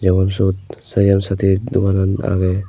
tey ibot syot sayam sathi doganan agey.